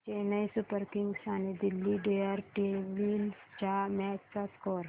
Chennai Super Kings आणि Delhi Daredevils च्या match चा स्कोअर